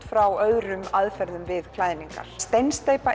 frá öðrum aðferðum við klæðningar steinsteypan